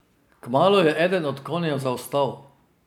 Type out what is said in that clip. Kmalu je eden od konjev zaostal.